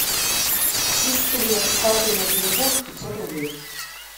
сестре с карты на телефон пятьсот рублей